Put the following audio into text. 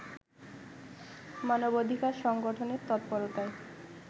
মানবাধিকার সংগঠনের তৎপরতায়